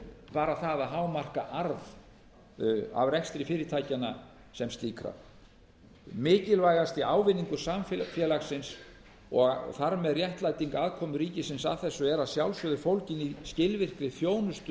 bara það að hámarka arð af rekstri fyrirtækjanna sem slíkra mikilvægasti ávinningur samfélagsins og þar með réttlæting aðkomu ríkisins að þessu er að sjálfsögðu fólgin í skilvirkri þjónustu